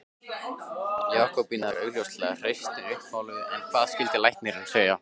Jakobína er augljóslega hreystin uppmáluð en hvað skyldi læknir segja?